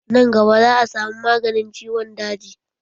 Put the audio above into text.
Nan gaba za a samu maganin ciwon daji